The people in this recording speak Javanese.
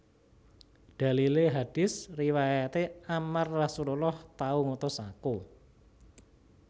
Dalilé hadits riwayaté Ammar Rasullullah tau ngutus aku